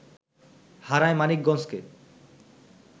হারায় মানিকগঞ্জকে